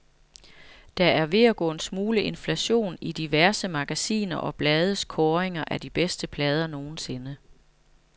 Der er ved at gå en smule inflation i diverse magasiner og blades kåringer af de bedste plader nogensinde.